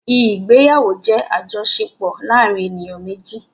Ìgbéyàwó jẹ́ àjọṣepọ̀ láàárin àwọn èniyàn méjì.